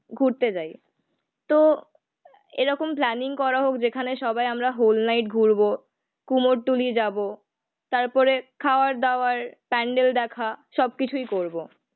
ঘুরতে যাই। তো এরকম প্ল্যানিং করা হোক যেখানে সবাই আমরা হোল নাইট ঘুরবো, কুমোরটুলি যাবো, তারপরে খাওয়ার দাওয়ার, প্যান্ডেল দেখা সবকিছুই করবো